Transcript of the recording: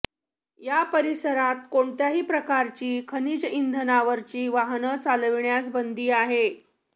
या परिसरात कोणत्याही प्रकारची खनिज इंधनावरची वाहनं चालविण्यास बंदी आहे